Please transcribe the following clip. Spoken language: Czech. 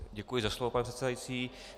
Děkuji za slovo, pane předsedající.